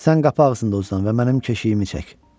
Sən qapı ağzında uzan və mənim keşiyimi çək.